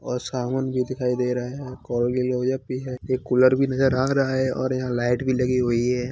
और साबुन भी दिखाई दे रहा है कॉलगेट क्लोज_अप भी है एक कूलर भी नजर आ रहा है और यहां लाइट भी लगी हुई है।